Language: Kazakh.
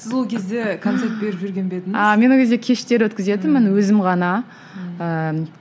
сіз ол кезде концерт беріп жүрген бе едіңіз а мен ол кезде кештер өткізітінмін өзім ғана ыыы